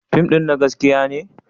Fim ɗin na gaskiya ne?